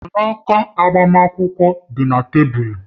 Mgbanaka agbamakwụkwọ dị na tebụl